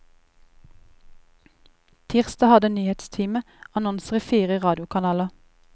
Tirsdag hadde nyhetsteamet annonser i fire radiokanaler.